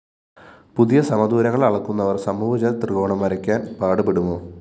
പുതിയ സമദൂരങ്ങള്‍ അളക്കുന്നവര്‍ സമഭുജ ത്രികോണം വരയ്ക്കാന്‍ പാടുപെടുമോ